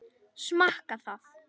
Smakka það.